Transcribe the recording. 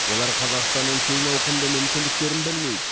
олар қазақстанның кең ауқымды мүмкіндіктерін білмейді